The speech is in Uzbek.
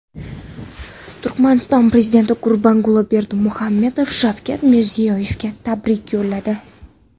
Turkmaniston prezidenti Gurbanguli Berdimuhammedov Shavkat Mirziyoyevga tabrik yo‘lladi.